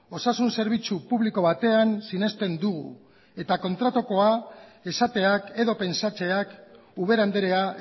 osasun zerbitzu publiko batean sinesten dugu eta kontrakoa esateak edo pentsatzeak ubera andrea